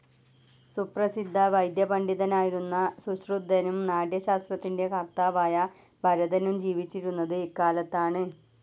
സുപ്രസിദ്ധ വൈദ്യ പണ്ഡിതനായിരുന്ന സുശ്രുതനും നാട്യ ശാസ്ത്രത്തിൻ്റെ കർത്താവായ ഭരതനും ജീവിച്ചിരുന്നത് ഇക്കാലത്താണ്.